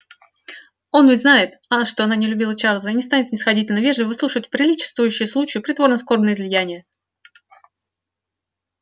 он ведь знает что она не любила чарлза и не станет снисходительно-вежливо выслушивать приличествующие случаю притворно-скорбные излияния